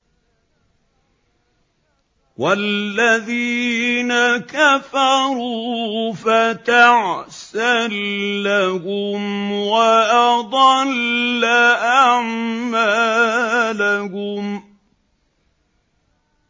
وَالَّذِينَ كَفَرُوا فَتَعْسًا لَّهُمْ وَأَضَلَّ أَعْمَالَهُمْ